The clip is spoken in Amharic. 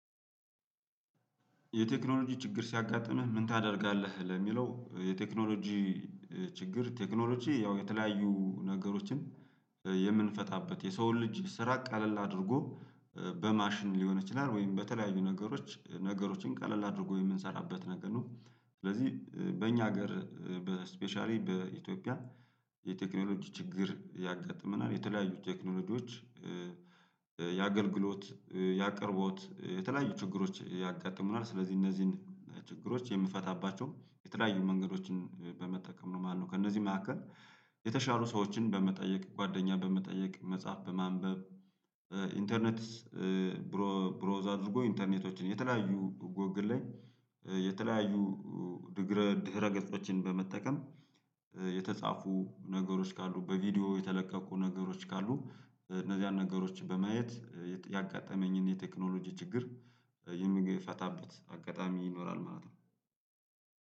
የቴክኖሎጂ ችግር ሲያጋጥምህ ምን ታደርጋለህ? ለሚለው የቴክኖሎጂ ችግር ቴክኖሎጂ ያው የተለያዩ ነገሮችን የምንፈታበት የሰውን ልጅ ስራ ቃለል አድርጎ በማሽን ሊሆን ይችላል ወይም በተለያዩ ነገሮች ነገሮችን ቀለል አድርጎ የምንሰራበት ነገር ነው። ስለዚህ በእኛ ሀገር በስፔሻሊ በኢትዮጵያ የቴክኖሎጂ ችግር ያጋጥመናል የተለያዩ ቴክኖሎጂዎች ያገልግሎት ያቀርቦት የተለያዩ ችግሮች ያጋጥሙናል። ስለዚህ እነዚህን ችግሮች የምንፈታባቸው የተለያዩ መንገዶችን በመጠቀም ነው። ማነው ከእነዚህ መካከል? የተሻሉ ሰዎችን በመጠየቅ ጓደኛህ በመጠየቅ መጻፍ በማንበብ ኢንተርኔት ብሮዝ አድርጎ ኢንተርኔቶችን የተለያዩ ጎግል ላይ የተለያዩ ድህረ ድህረ ገጾችን በመጠቀም የተጻፉ ነገሮች ካሉ በቪዲዮ የተለቀቁ ነገሮች ካሉ እነዚያን ነገሮች በማየት ያጋጠመኝን የቴክኖሎጂ ችግር የሚፈታበት ፈታበት አጋጣሚ ይኖራል ማለት ነው።